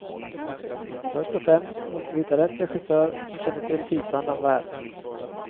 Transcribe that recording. Först och främst måste vi hitta rätt regissör som känner till tidsandan väl.